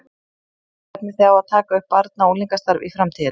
Stefnið þið á að taka upp barna og unglingastarf í framtíðinni?